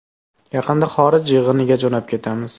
Yaqinda xorij yig‘iniga jo‘nab ketamiz.